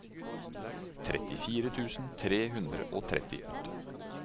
trettifire tusen tre hundre og trettiåtte